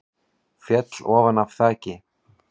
Féll ofan af þaki